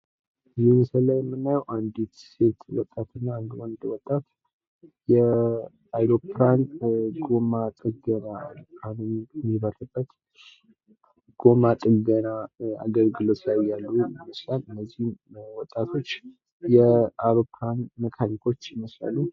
እዚህ ምስል ላይ የምናዬው አንዲት ሴት ወጣትና አንድ ወንድ ወጣት የአውሮፕላን ጎማ የሚበርበት ጎማ ጥገና አገልግሎት ላይ እያሉ ይመስላል እነዚህም ወጣቶች የአውሮፕላን መካኒኮች ይመስላሉ።